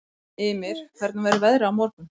Ymir, hvernig verður veðrið á morgun?